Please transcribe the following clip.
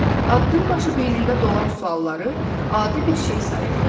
Addımbaşı beynində doğan sualları adi bir şey sayırdı.